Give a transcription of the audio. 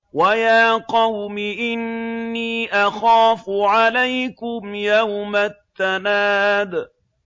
وَيَا قَوْمِ إِنِّي أَخَافُ عَلَيْكُمْ يَوْمَ التَّنَادِ